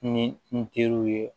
Ni n teriw ye